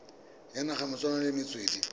ya naga malebana le metswedi